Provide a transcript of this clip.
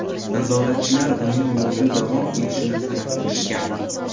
Nazoratchilar uning yo‘lda davom etishini talab qilishgan.